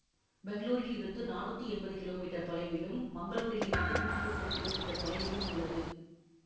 பெங்களூரில் இருந்து நானூற்றி எம்பது கிலோமீட்டர் தொலைவிலும் மங்களூரில் இருந்து நூற்றி முப்பது கிலோமீட்டர் தொலைவிலும் உள்ளது